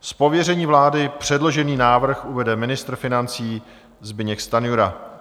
Z pověření vlády předložený návrh uvede ministr financí Zbyněk Stanjura.